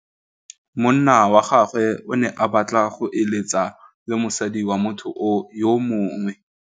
Monna wa gagwe o ne a batla go êlêtsa le mosadi wa motho yo mongwe.